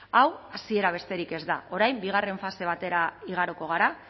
hau hasiera besterik ez da orain bigarren fase batera igaroko gara